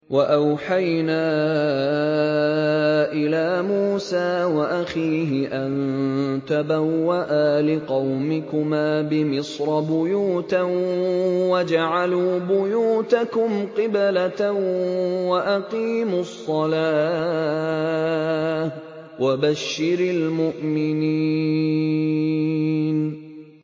وَأَوْحَيْنَا إِلَىٰ مُوسَىٰ وَأَخِيهِ أَن تَبَوَّآ لِقَوْمِكُمَا بِمِصْرَ بُيُوتًا وَاجْعَلُوا بُيُوتَكُمْ قِبْلَةً وَأَقِيمُوا الصَّلَاةَ ۗ وَبَشِّرِ الْمُؤْمِنِينَ